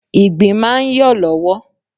Ìgbín máa ń yọ̀ lọ́wọ́.